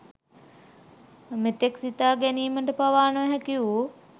මෙතෙක් සිතාගැනීමට පවා නොහැකිවූ